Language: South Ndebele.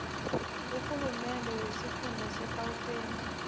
urhulumende wesifunda segauteng